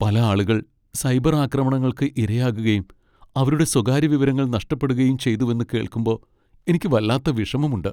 പല ആളുകൾ സൈബർ ആക്രമണങ്ങൾക്ക് ഇരയാകുകയും അവരുടെ സ്വകാര്യ വിവരങ്ങൾ നഷ്ടപ്പെടുകയും ചെയ്തുവെന്ന് കേൾക്കുമ്പോ എനിക്ക് വല്ലാത്ത വിഷമമുണ്ട് .